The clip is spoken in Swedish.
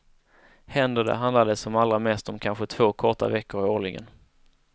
Händer det, handlar det som allra mest om kanske två korta veckor årligen.